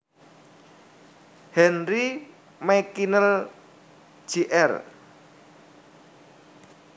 Henry McKinnell Jr